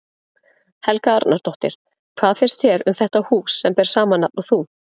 Helga Arnardóttir: Hvað finnst þér um þetta hús sem ber sama nafn og þú?